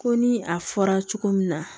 Ko ni a fɔra cogo min na